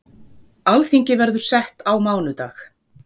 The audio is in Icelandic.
Alþingi verður sett á mánudag.